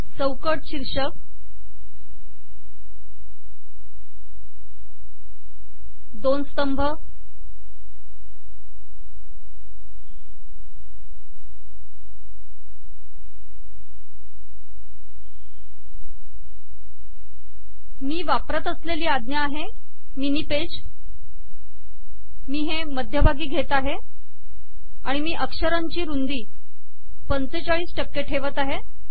चौकट शीर्षक दोन स्तंभ मी वापरत असलेली आज्ञा आहे मिनि पेज मी हे मध्यभागी घेत आहे आणि मी अक्षरांची रुंदी ४५ टक्के ठेवत आहे